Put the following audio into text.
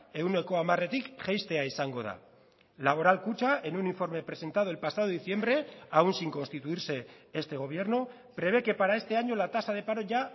ehuneko hamaretik jaistea izango da laboral kutxa en un informe presentado el pasado diciembre aún sin constituirse este gobierno prevé que para este año la tasa de paro ya